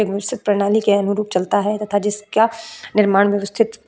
एक बिकसित प्रणाली के अनुरूप चलता है तथा जिसका निर्माण व्यवस्थित --